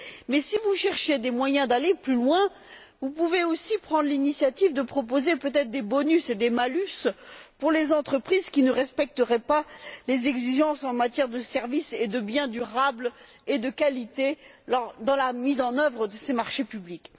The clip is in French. Cependant, si vous cherchez des moyens d'aller plus loin, vous pourriez aussi prendre l'initiative de proposer des bonus et des malus pour les entreprises qui ne respecteraient pas les exigences en matière de services et de biens durables et de qualité dans la mise en œuvre de ces marchés publics.